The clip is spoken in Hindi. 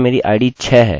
आपको यह अब तक पता होना चाहिए